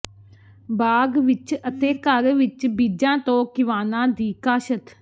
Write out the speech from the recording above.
ਬਾਗ ਵਿਚ ਅਤੇ ਘਰ ਵਿਚ ਬੀਜਾਂ ਤੋਂ ਕਿਵਾਣਾ ਦੀ ਕਾਸ਼ਤ